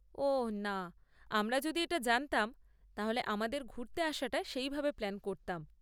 ওঃ না, আমরা যদি এটা জানতাম, তাহলে আমাদের ঘুরতে আসাটা সেইভাবে প্ল্যান করতাম।